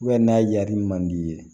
n'a y'a di man di i ye